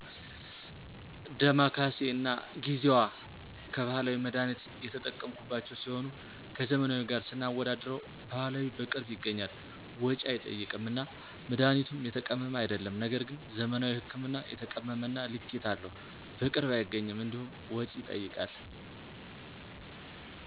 ደማከሴ እና ጊዜዋ ከባህላዊ መድሀኒት የተጠቀምሁባቸው ሲሆኑ ከዘመናዊ ጋር ስናወዳድረው ባህላዊ በቅርብ ይገኛል፣ ወጭ አይጠይቅም እና መድሀኒቱም የተቀመመ አይደለም ነገር ግን ዘመናዊ ህክምና የተቀመመ እና ልኬታ አለው፣ በቅርብ አይገኝም እንዲሁም ወጭ ይጠይቃል።